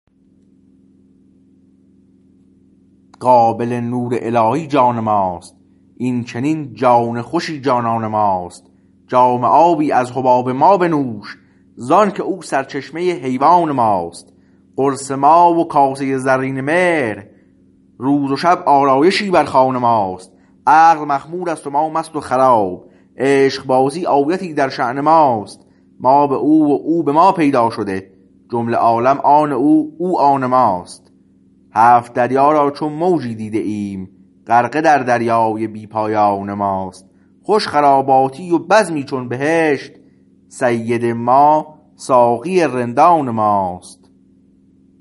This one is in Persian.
قابل نور الهی جان ماست این چنین جان خوشی جانان ماست جام آبی از حباب ما بنوش زآنکه او سرچشمه حیوان ماست قرص ماه و کاسه زرین مهر روز و شب آرایشی بر خوان ماست عقل مخمور است و ما مست و خراب عشقبازی آیتی در شأن ماست ما به او و او به ما پیدا شده جمله عالم آن او او آن ماست هفت دریا را چو موجی دیده ایم غرقه در دریای بی پایان ماست خوش خراباتی و بزمی چون بهشت سید ما ساقی رندان ماست